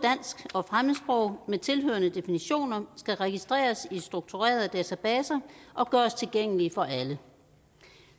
og fremmedsprog med tilhørende definitioner skal registreres i strukturerede databaser og gøres tilgængelige for alle